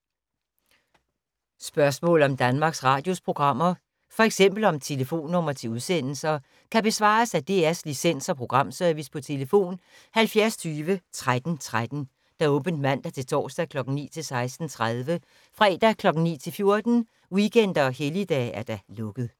Spørgsmål om Danmarks Radios programmer, f.eks. om telefonnumre til udsendelser, kan besvares af DR Licens- og Programservice: tlf. 70 20 13 13, åbent mandag-torsdag 9.00-16.30, fredag 9.00-14.00, weekender og helligdage: lukket.